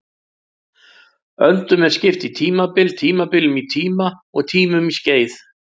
Öldunum er skipt í tímabil, tímabilunum í tíma og tímunum í skeið.